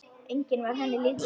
Enginn var henni líkur.